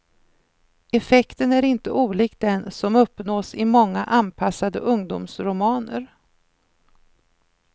Effekten är inte olik den som uppnås i många anpassade ungdomsromaner.